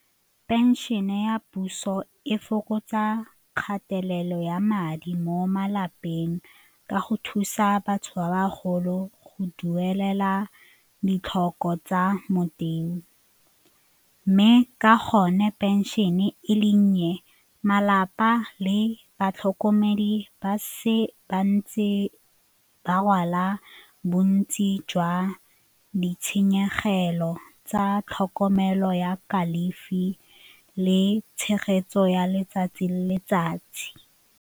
Pension-e ya puso e fokotsa kgatelelo ya madi mo malapeng ka go thusa batho ba bagolo go duelela ditlhoko tsa mme ka gonne pension-e e le nnye, malapa le batlhokomedi ba se ba ntse ba rwala bontsi jwa ditshenyegelo tsa tlhokomelo ya kalafi le tshegetso ya letsatsi le letsatsi.